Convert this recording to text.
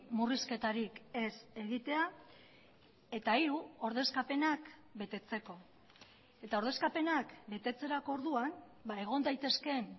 murrizketarik ez egitea eta hiru ordezkapenak betetzeko eta ordezkapenak betetzerako orduan egon daitezkeen